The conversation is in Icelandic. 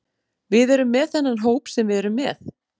Við erum með þennan hóp sem við erum með.